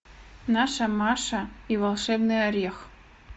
наша маша и волшебный орех